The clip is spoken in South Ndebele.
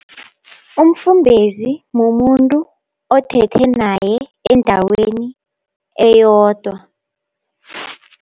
Umfumbezi mumuntu, othethe naye endaweni eyodwa.